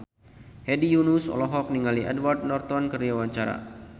Hedi Yunus olohok ningali Edward Norton keur diwawancara